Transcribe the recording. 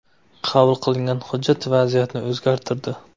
Qabul qilingan hujjat vaziyatni o‘zgartirdi.